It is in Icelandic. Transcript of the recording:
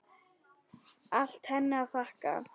Allt henni að þakka.